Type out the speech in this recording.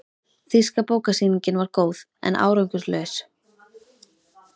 Þýska bókasýningin var góð, en árangurslaus.